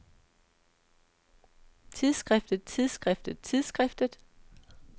tidsskriftet tidsskriftet tidsskriftet